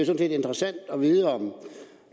set interessant at vide om